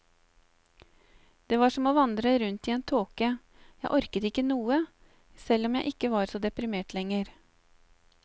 Det var som å vandre rundt i en tåke, jeg orket ikke noe, selv om jeg ikke var så deprimert lenger.